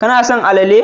Kana son alale